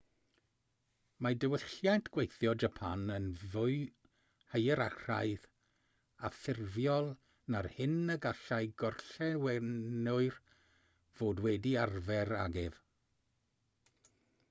mae diwylliant gweithio japan yn fwy hierarchaidd a ffurfiol na'r hyn y gallai gorllewinwyr fod wedi arfer ag ef